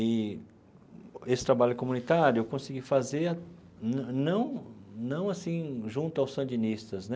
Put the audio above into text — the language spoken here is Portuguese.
E esse trabalho comunitário eu consegui fazer, não não não assim, junto aos sandinistas, né?